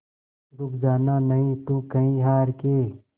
रुक जाना नहीं तू कहीं हार के